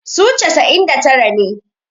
su casa'in da tara ne